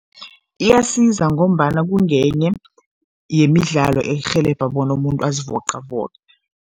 Iyasiza ngombana kungenye yemidlalo erhelebha bona umuntu azivoqavoqe.